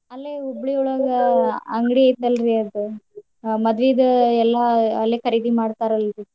ಅಲ್ಲೆ ಹುಬ್ಳಿಯೊಳಗ ಅಂಗ್ಡಿ ಐತಲ್ರೀ ಅವ್ರ್ದ್ ಹ ಮದ್ವೀದು ಎಲ್ಲಾ ಅಲ್ಲೇ ಖರೀದಿ ಮಾಡ್ತಾರಲ್ರೀ.